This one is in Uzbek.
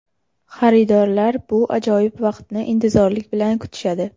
Xaridorlar bu ajoyib vaqtni intizorlik bilan kutishadi.